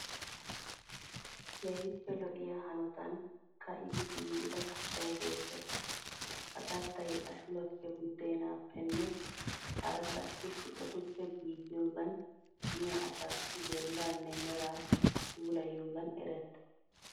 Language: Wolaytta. Keehippe lo'iya hanotan ka'idi giigida kattayi beettees. Ha kattay ashuwaappe, buddeenaappenne hara qassi shuqotuppe giigiyoogan miya asaassi bollaanne meraa puulayiyoogan erettees.